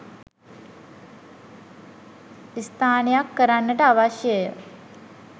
ස්ථානයක් කරන්නට අවශ්‍ය ය.